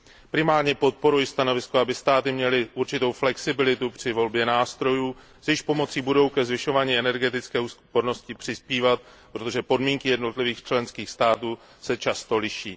Primárně podporuji stanovisko, aby státy měly určitou flexibilitu při volbě nástrojů, s jejichž pomocí budou ke zvyšování energetické úspornosti přispívat, protože podmínky jednotlivých členských států se často liší.